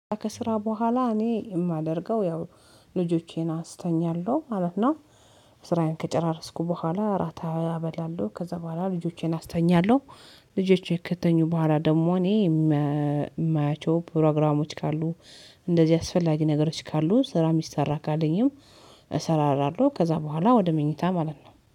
ከስራ በኋላ እኔ የማደርገው ያው ልጆቼን አስተኛለሁ ማለት ነው። ስራዬን ከጨራረስኩ በኋላ እራታ እበላለሁ ከዛ በኋላ ልጆቼን አስተኛለሁ። ልጆቼ ከተኙ በኋላ ደግሞ እኔ የማያቸው ፕሮግራሞች ካሉ እንደዚህ አስፈላጊ ነገሮች ካሉ ስራ የሚሰራ ካለኝም። እሰራራለሁ ከዛ በኋላ ወደ መኝታ ማለት ነው